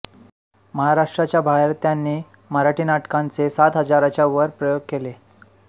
महाराष्ट्राच्या बाहेर त्यांनी मराठी नाटकांचे सात हजाराच्याचर प्रयोग केले